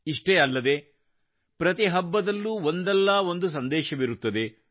ಇಷ್ಟೇ ಅಲ್ಲದೆ ಪ್ರತಿ ಹಬ್ಬದಲ್ಲೂ ಒಂದಲ್ಲ ಒಂದು ಸಂದೇಶವಿರುತ್ತದೆ